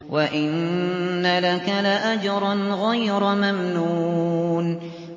وَإِنَّ لَكَ لَأَجْرًا غَيْرَ مَمْنُونٍ